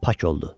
Pak oldu.